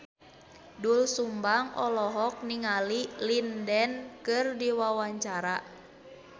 Doel Sumbang olohok ningali Lin Dan keur diwawancara